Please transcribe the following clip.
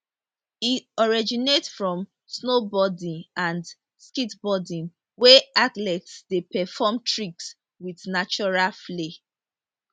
e originate from snowboarding and skateboarding wia athletes dey perform tricks wit natural flair